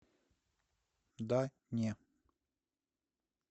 да не